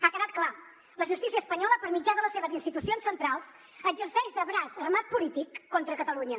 ha quedat clar la justícia espanyola per mitjà de les seves institucions centrals exerceix de braç armat polític contra catalunya